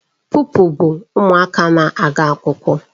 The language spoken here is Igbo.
Pụpịl bụ ụmụaka na-aga akwụkwọ